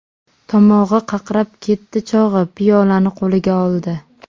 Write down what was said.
Tomog‘i qaqrab ketdi chog‘i piyolani qo‘liga oldi.